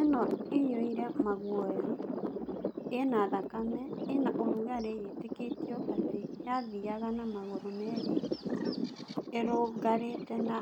ĩno ĩiyũire maguoya, ĩna thakame ĩna ũrugarĩ yetĩkĩtio atĩ yathiaga na magũrũ meerĩ ĩrũngarĩte na